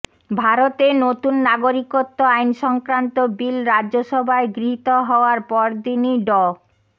ভারতে নতুন নাগরিকত্ব আইনসংক্রান্ত বিল রাজ্যসভায় গৃহীত হওয়ার পরদিনই ড